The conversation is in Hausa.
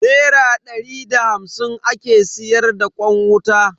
Nera dari da hamsin ake siyar da kwan wuta.